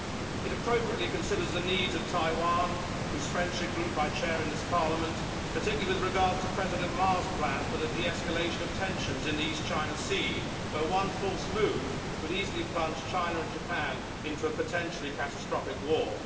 It appropriately considers the needs of Taiwan, whose friendship group I chair in this Parliament, particularly with regard to President Ma's plan for the de escalation of tensions in the East China Sea, where one false move could easily plunge China and Japan into a potentially catastrophic war.